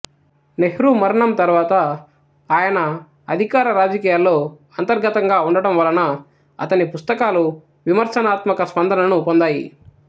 నెహ్రూ మరణం తర్వాత ఆయన అధికార రాజకీయాల్లో అంతర్గతంగా ఉండటం వలన అతని పుస్తకాలు విమర్శనాత్మక స్పందనను పొందాయి